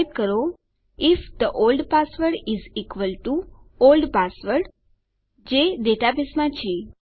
type કરો if the old password is equal to old password જે ડેટાબેઝમાં છે